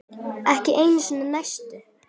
Ekki einu sinni neisti.